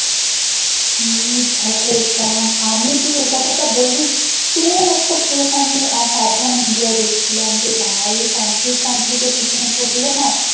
হে ভগবান আমি তুই এ কথা তা বলবি same একটা case আমি সাবধান india এ দেখছিলাম ভাই এই তান্ত্রিক ফ্যান্ত্রিকের পিছনে পড়লে না